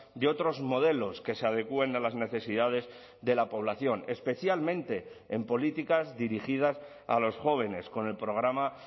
de otros modelos que se adecuen a las necesidades de la población especialmente en políticas dirigidas a los jóvenes con el programa